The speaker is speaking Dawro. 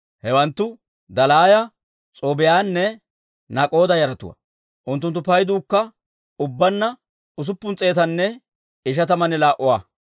Hewanttu Dalaaya, S'oobbiyaanne Nak'oda yaratuwaa; unttunttu payduukka ubbaanna usuppun s'eetanne ishatamanne laa"uwaa.